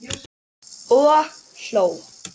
Og hló.